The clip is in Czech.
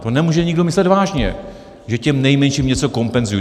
To nemůže nikdo myslet vážně, že těm nejmenším něco kompenzují.